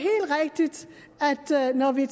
når vi